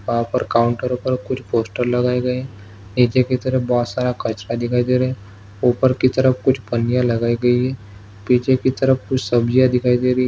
वहाँ पर काउंटर पर कुछ पोस्टर लगाए गए है नीचे की तरफ बोहोत सारा कचरा दिखाई दे रहा है ऊपर की तरफ कुछ पन्नियाँ लगाई गई है पीछे कि तरफ कुछ सब्जीया दिखाई दे रही --